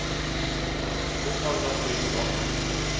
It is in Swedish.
Nu tar vi några steg tillbaka.